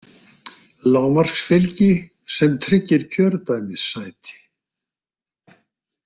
Lágmarksfylgi sem tryggir kjördæmissæti